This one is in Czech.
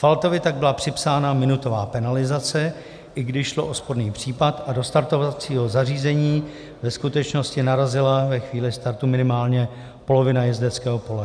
Faltovi tak byla připsána minutová penalizace, i když šlo o sporný případ a do startovacího zařízení ve skutečnosti narazila ve chvíli startu minimálně polovina jezdeckého pole.